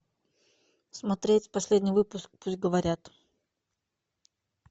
смотреть последний выпуск пусть говорят